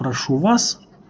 прошу вас